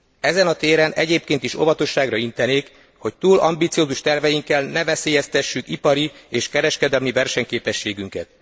Ezen a téren egyébként is óvatosságra intenék, hogy túl ambiciózus terveinkkel ne veszélyeztessük ipari és kereskedelemi versenyképességünket.